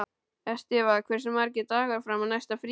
Estiva, hversu margir dagar fram að næsta fríi?